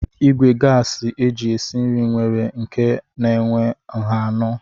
Ìgwè gasi eji esi nri nwere nke na-enwe nha anọ.